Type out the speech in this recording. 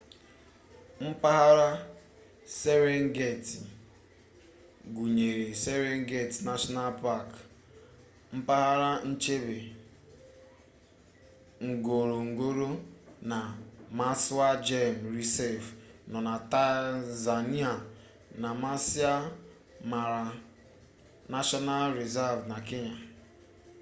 mpaghara serengeti gụnyere serengeti nashọnal pak mpaghara nchebe ngorongoro na maswa gem rịzav nọ na tanzania na maasai mara nashọnal rịzav na kenya